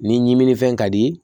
Ni ɲimininfɛn ka di